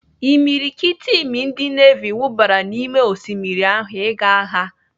Imiriikiti imi ndị nevi wubara n'ime osimmiri ahụ ịga agha.